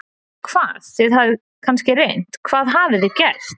Hvað, þið hafið kannski reynt, hvað hafið þið gert?